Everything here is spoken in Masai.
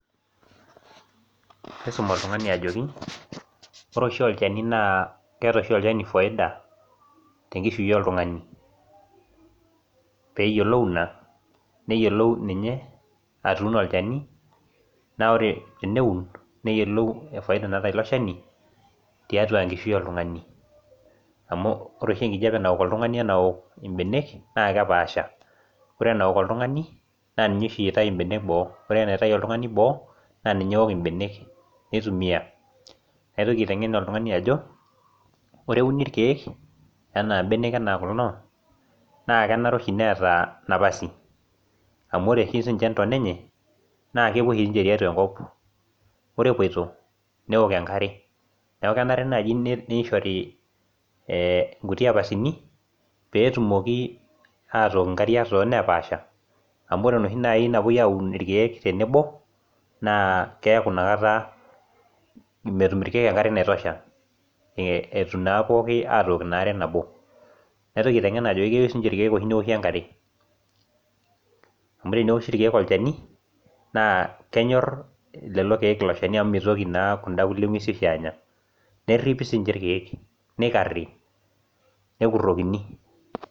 nisum oltung'ani ajoki ore oshi olchani naa keeta oshi oltung'ani faida tenkishui oltung'ani pee eyiolou ena neyiolou ninye atuno olchani naa ore teneun neyiolou faida naata olchani tiatua enkishui oltung'ani amu ore oshi enkijiape naok oltung'ani oo benek naa kepashaa ore ena ok oltung'ani naa ninye oshi enaok oltung'ani naa ninye eitai benek boo ore enaitai oltung'ani boo naa ninye eaok benek nitumia naitoki aiteng'en oltung'ani Ajo ore euni irkeek ena benek ena kulo naa kenare oshi meeta napasi amu ore oshi sinje ntoona enye naa kepuo oshi tiatua enkop ore epoito neok enkare neeku kenare naaji niahore ee kuti apasini pee etumoki aitoki nkariak too nepashaa amu ore naaji enoshi napuoi aun irkeek tenebo naa keeku enakata metum irkeek enkare naitosha etum naa pookin aitoki enaa are nabo naitoki aiteng'en Ajo keyieu sininje irkeek enkare amu teneoshi irkeek olchani naa kenyor lelo keek elo Shani amu meitoki naa kuda kulie nguesin anya neripi sininje irkeek arip nekurokini